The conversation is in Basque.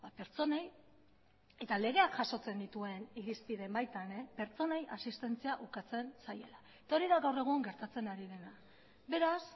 pertsonei eta legeak jasotzen dituen irizpideen baitan pertsonei asistentzia ukatzen zaiela eta hori da gaur egun gertatzen ari dena beraz